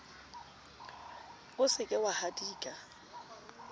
o se ke wa hadika